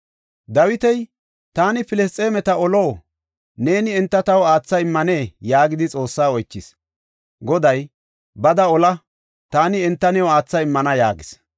Dawiti, “Taani Filisxeemeta olo? Neeni enta taw aatha immanee?” yaagidi Xoossaa oychis. Goday, “Bada ola; taani enta new aatha immana” yaagis.